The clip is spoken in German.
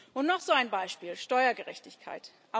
Und noch so ein Beispiel Steuergerechtigkeit.